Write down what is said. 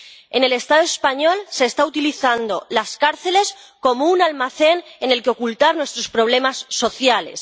En el Estado español se están utilizando las cárceles como un almacén en el que ocultar nuestros problemas sociales.